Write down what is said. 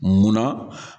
Munna